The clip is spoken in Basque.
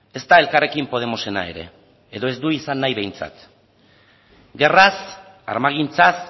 ezta elkarrekin podemosena ere edo ez du izan nahi behintzat gerraz armagintzaz